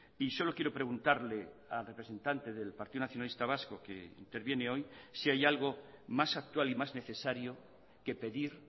y solo quiero preguntarle al representante del partido nacionalista vasco que interviene hoy si hay algo más actual y más necesario que pedir